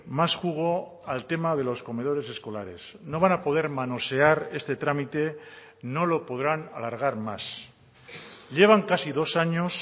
más jugo al tema de los comedores escolares no van a poder manosear este trámite no lo podrán alargar más llevan casi dos años